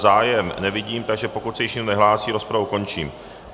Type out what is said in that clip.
Zájem nevidím, takže pokud se již nikdo nehlásí, rozpravu končím.